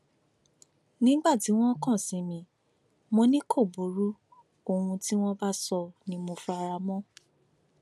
nígbà tí wọn kàn sí mi mọ ni kò burú ohun tí wọn bá sọ ni mo fara mọ